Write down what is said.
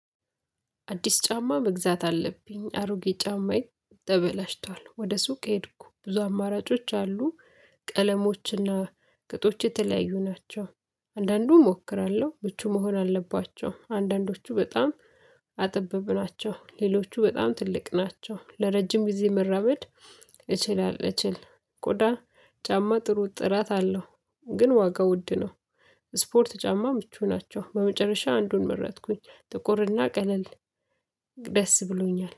አዲስ ጫማ መግዛት አለብኝ አሮጌ ጫማዬ ተበላሽቷል ወደ ሱቅ ሄድኩ ብዙ አማራጮች አሉ ቀለሞችና ቁጥሮች የተለያዩ ናቸው። አንዳንዱንም እሞክራለሁ ብቹ መሆን አለባቸው አንዳንዶቹ በጣም ጠባብ ናቸው። ሌሎቹ በጣም ትልቅ ናቸው ለረጅም ጊዜ መራመድ እችላለሁ። እችል ቆዳ ጫማ ጥሩ ጥራት አለው። ግን ዋጋው ውድ ነው። ስፖርት ጫማ ምቹ ናቸው በመጨረሻ አንዱን መረጥኩኝ ጥቁርና ቀለል ደስ ብሎኛል